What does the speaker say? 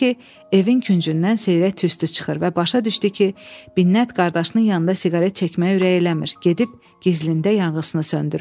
Gördü ki, evin küncündən seyrək tüstü çıxır və başa düşdü ki, Binnət qardaşının yanında siqaret çəkməyə ürək eləmir, gedib gizlində yanıqısını söndürür.